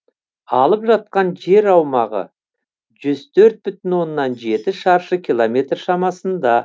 алып жатқан жер аумағы жүз төрт бүтін оннан жеті шаршы километр шамасында